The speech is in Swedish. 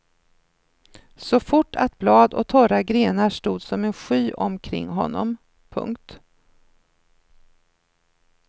Så fort att blad och torra grenar stod som en sky omkring honom. punkt